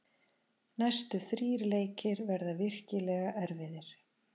Næstu þrír leikir verða virkilega erfiðir.